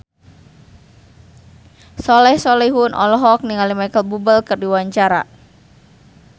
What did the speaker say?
Soleh Solihun olohok ningali Micheal Bubble keur diwawancara